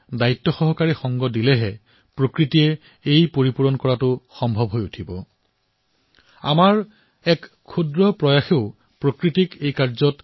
কিন্তু এই ৰিফিল তেতিয়াহে হব পাৰে যেতিয়া আমি ধৰিত্ৰী মাক এই অৱকাশ প্ৰদান কৰিম